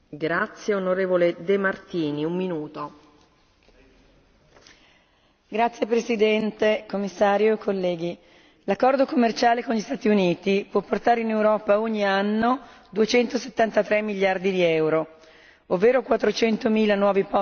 Signora Presidente, signor Commissario, onorevoli colleghi, l'accordo commerciale con gli Stati Uniti, può portare in Europa ogni anno 273 miliardi di euro, ovvero 400 mila nuovi posti di lavoro e l'aumento dell'export del